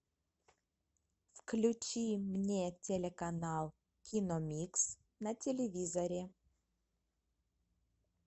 включи мне телеканал киномикс на телевизоре